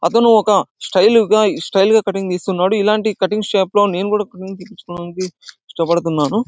అతను ఒక స్టైల్ గా ఈ స్టైల్ కటింగ్ చేస్తున్నాడు. ఇలాంటి కటింగ్ షాపు లో నేను కటింగ్ తీసుకోవడానికి ఇష్టపడుతున్నాను.